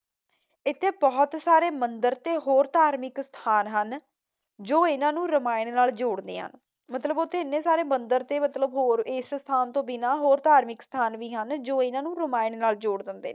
ਇਥੇ ਬਹੁਤ ਸਾਰੇ ਮੰਦਰ ਤੇ ਹੋਰ ਧਾਰਮਿਕ ਸਥਾਨ ਹਨ ਜੋ ਇਹਨਾਂ ਨੂੰ ਰਾਮਾਇਣ ਨਾਲ ਜੋੜਦੇ ਹਨ। ਮਤਲਬ ਉੱਥੇ ਏਨੇ ਸਾਰੇ ਮੰਦਰ ਤੇ ਮਤਲਬ ਹੋਰ ਇਸ ਸਥਾਨ ਤੋਂ ਬਿਨਾਂ ਹੋਰ ਧਾਰਮਿਕ ਸਥਾਨ ਵੀ ਹਨ ਜੋ ਇਹਨਾਂ ਨੂੰ ਰਾਮਾਇਣ ਨਾਲ ਜੋੜ ਦਿੰਦੇ ਨੇ।